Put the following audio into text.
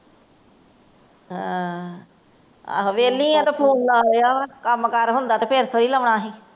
ਆ ਵੇਹਲੀ ਆ ਤਾਂ ਫੋਨ ਲਾਇਆ, ਕੰਮ ਕਾਰ ਹੁੰਦਾ ਫਿਰ ਥੋੜੇ ਲਾਉਣਾ ਸੀ।